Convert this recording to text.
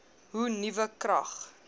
hoe nuwe krag